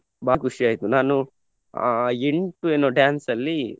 ತುಂಬಾ ಖುಷಿಯಾಯ್ತು ನಾನು ಅಹ್ ಎಂಟು ಏನೊ dance ಅಲ್ಲಿ